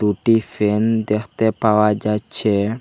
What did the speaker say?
দুটি ফ্যান দেখতে পাওয়া যাচ্ছে।